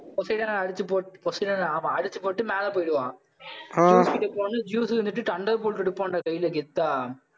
போஸிடான்ஆ அடிச்சுப் போ~ போஸிடான்ஆ அவன், அடிச்சுப் போட்டு, மேல போயிடுவான் ஜீயஸ் வந்துட்டு தண்டர்போல்ட்டை ஐ எடுப்பான்டா, கையில கெத்தா.